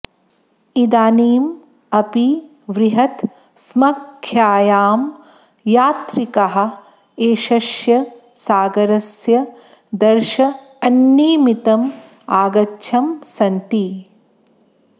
इदानीम् अपि बृहत् स्ङ्ख्यायां यात्रिकाः एषस्य सागरस्य दर्शन्निमित्तम् आगच्छन् सन्ति